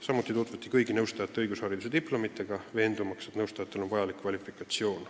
Samuti tutvuti kõigi nõustajate õigusharidusdiplomitega, veendumaks, et nõustajatel on vajalik kvalifikatsioon.